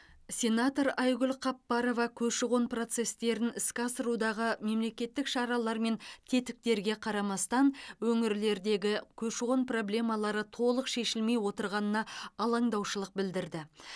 сенатор айгүл қапбарова көші қон процестерін іске асырудағы мемлекеттік шаралар мен тетіктерге қарамастан өңірлердегі көші қон проблемалары толық шешілмей отырғанына алаңдаушылық білдірді